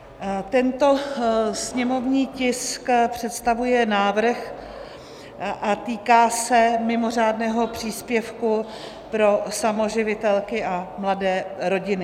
Tento sněmovní tisk představuje návrh a týká se mimořádného příspěvku pro samoživitelky a mladé rodiny.